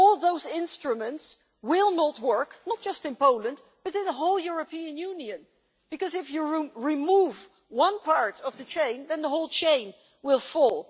All those instruments will not work not just in Poland, but in the whole European Union because, if you remove one part of the chain, then the whole chain will fall.